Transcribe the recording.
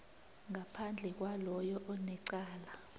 ngaphandle kwaloyo onecala